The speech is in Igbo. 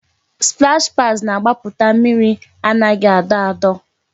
Splash pads na-agbaputa mmiri anaghị adọ adọ